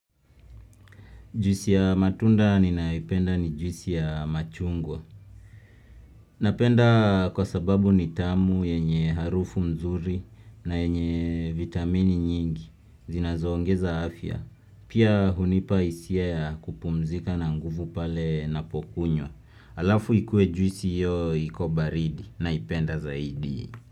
Juisi ya matunda ninayoipenda ni juisi ya machungwa. Napenda kwa sababu ni tamu yenye harufu mzuri na yenye vitamini nyingi zinazoongeza afya. Pia hunipa isia ya kupumzika na nguvu pale napokunywa. Alafu ikue juisi iyo iko baridi naipenda zaidi.